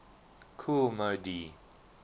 kool moe dee